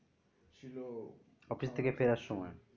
office থেকে ফেরার সময়